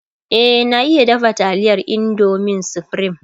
e na iya dafa taliyar indomin supreme